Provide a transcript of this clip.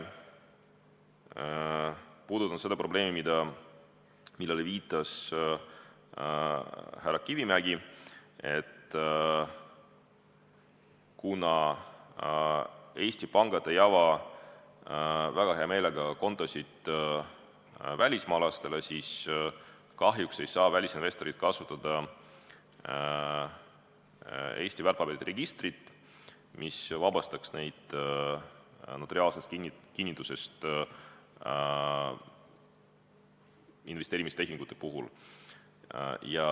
Puudutasime seda probleemi, millele viitas härra Kivimägi, et kuna Eesti pangad ei ava väga hea meelega kontosid välismaalastele, siis kahjuks ei saa välisinvestorid kasutada Eesti väärtpaberite registrit, mis vabastaks neid notariaalsest kinnitusest investeerimistehingute puhul.